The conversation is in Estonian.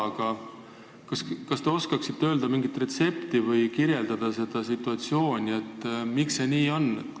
Aga kas te oskate öelda mingi retsepti või kirjeldada seda situatsiooni, miks see nii on?